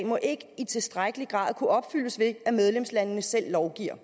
må ikke i tilstrækkelig grad kunne opfyldes ved at medlemslandene selv lovgiver